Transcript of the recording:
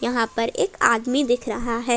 यहां पर एक आदमी दिख रहा है।